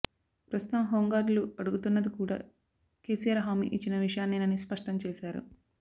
ప్రస్తుతం హోంగార్డులు అడుగుతున్నది కూడా కేసీఆర్ హామీ ఇచ్చిన విషయాన్నేనని స్పష్టం చేశారు